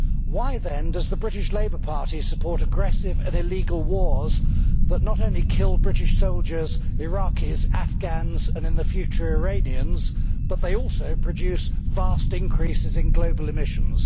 Why, then, does the British Labour Party support aggressive and illegal wars that not only kill British soldiers, Iraqis, Afghans and, in the future, Iranians, but also produce vast increases in global emissions?